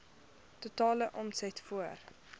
totale omset voor